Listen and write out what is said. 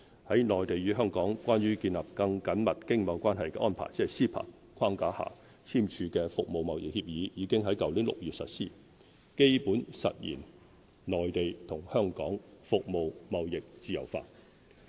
在"內地與香港關於建立更緊密經貿關係的安排"框架下簽署的《服務貿易協議》已於去年6月實施，基本實現內地與香港服務貿易自由化。